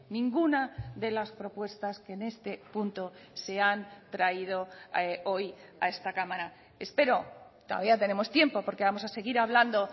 ninguna de las propuestas que en este punto se han traído hoy a esta cámara espero todavía tenemos tiempo porque vamos a seguir hablando